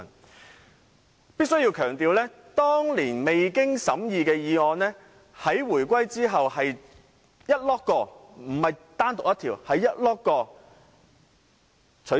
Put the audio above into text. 我必須強調，當年未經審議的議案，在回歸後是整批，而非單獨一項被取消。